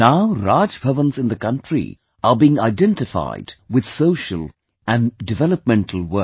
Now Raj Bhavans in the country are being identified with social and development work